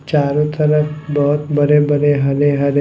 चारो तरफ बहोत बरे-बरे हरे-हरे --